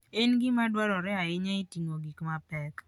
En gima dwarore ahinya e ting'o gik mapek.